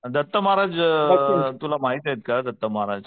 दत्त महाराज अ तुला माहितीयेत का दत्त महाराज.